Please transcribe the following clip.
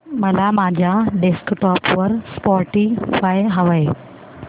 मला माझ्या डेस्कटॉप वर स्पॉटीफाय हवंय